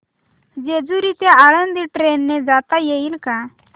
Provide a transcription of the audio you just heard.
जेजूरी ते आळंदी ट्रेन ने जाता येईल का